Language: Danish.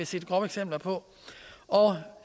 set grove eksempler på og